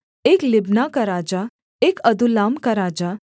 एक लिब्ना का राजा एक अदुल्लाम का राजा